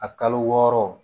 A kalo wɔɔrɔ